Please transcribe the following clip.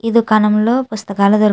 ఈ దుకాణం లో పుస్తకాలు దొరుకుతా --